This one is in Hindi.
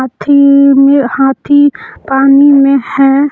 थी में हाथी पानी में है।